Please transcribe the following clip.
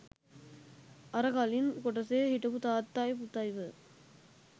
අර කලින් කොටසේ හිටපු තාත්තයි පුතයි ව